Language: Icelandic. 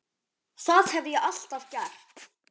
Það hef ég alltaf gert.